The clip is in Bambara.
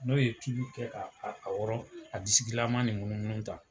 N'o ye tulu kɛ ban ka a disikilama ni munumunu tan